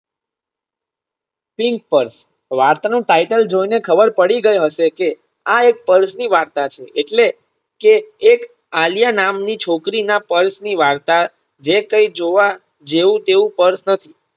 pim purse વાર્ત નું title જોઈને ખબર પડી ગઈ હશે કે આ એક Purse ની વાર્તા છે એટલે કે એક આલ્યા નામની છોકરી ના પલ્સની વાર્તા જે કઈ જોવા જેવું તેવું Purse નથી